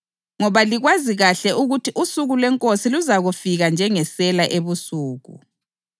ngoba likwazi kahle ukuthi usuku lweNkosi luzafika njengesela ebusuku.